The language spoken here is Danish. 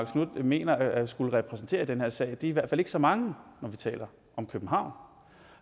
knuth mener at skulle repræsentere i den her sag er i hvert fald ikke så mange når vi taler om københavn